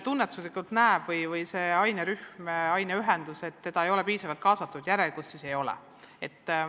Kui mõni inimene või ainerühm, aineühendus tunneb, et teda ei ole piisavalt kaasatud, siis järelikult see nii on.